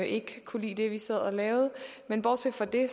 ikke kunne lide det vi sad og lavede men bortset fra det